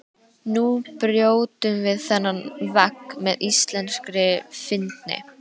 Nú brjótum við þennan vegg með íslenskri fyndni.